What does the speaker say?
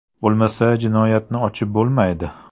Bo‘lmasa jinoyatni ochib bo‘lmaydi.